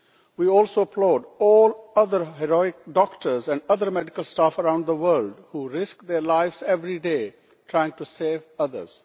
We also applaud all other heroic doctors and other medical staff around the world who risk their lives every day trying to save others.